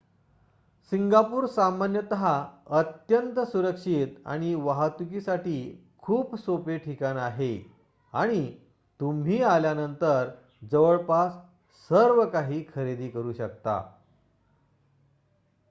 Singapore सामान्यतः अत्यंत सुरक्षित आणि वाहतुकीसाठी खूप सोपे ठिकाण आहे आणि तुम्ही आल्यानंतर जवळपास सर्वकाही खरेदी करू शकता